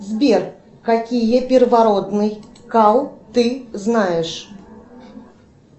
сбер какие первородный кал ты знаешь